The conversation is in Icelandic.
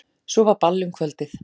Svo var ball um kvöldið.